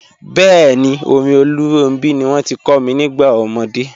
Bẹẹ̀ni, orin Olóòrun ní wọn ti kò mi nígbà omọdé.